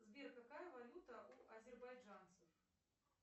сбер какая валюта у азербайджанцев